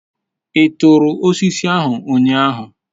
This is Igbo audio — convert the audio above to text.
I turu osiso ahu unyahu?